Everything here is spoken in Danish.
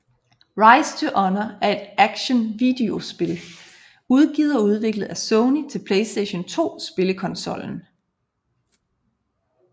Rise to honour er et action videospil udgivet og udviklet af Sony til PlayStation 2 spillekonsollen